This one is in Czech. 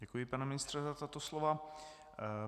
Děkuji, pane ministře, za tato slova.